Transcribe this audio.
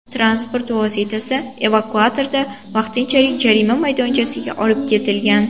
Transport vositasi evakuatorda vaqtinchalik jarima maydonchasiga olib ketilgan.